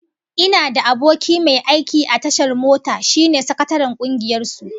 Ina da aboki mai aiki a tashar mota, shine sakataren kungiyar su